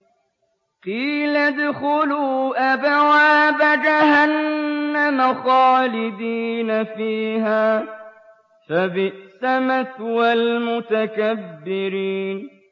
قِيلَ ادْخُلُوا أَبْوَابَ جَهَنَّمَ خَالِدِينَ فِيهَا ۖ فَبِئْسَ مَثْوَى الْمُتَكَبِّرِينَ